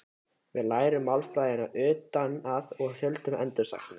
Við lærðum málfræðina utan að og þuldum endursagnir.